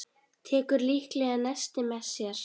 Tekur líklega nesti með sér.